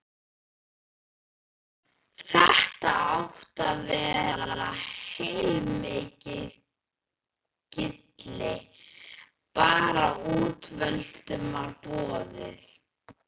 Þetta átti að vera heilmikið gilli, bara útvöldum var boðið.